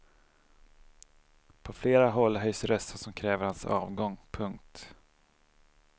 På flera håll höjs röster som kräver hans avgång. punkt